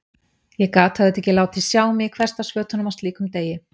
Ég gat auðvitað ekki látið sjá mig í hversdagsfötunum á slíkum degi.